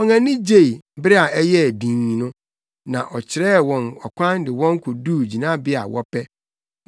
Wɔn ani gyei, bere a ɛyɛɛ dinn no, na ɔkyerɛɛ wɔn ɔkwan de wɔn koduu gyinabea a wɔpɛ.